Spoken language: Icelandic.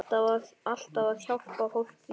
Alltaf að hjálpa fólki.